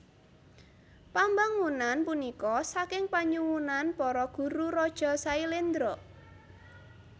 Pambangunan punika saking panyuwunan para guru raja Sailendra